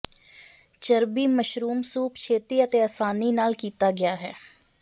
ਚਰਬੀ mushroom soup ਛੇਤੀ ਅਤੇ ਆਸਾਨੀ ਨਾਲ ਕੀਤਾ ਗਿਆ ਹੈ